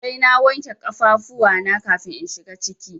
Sai na wanke kafafuwa na kafin in shiga ciki.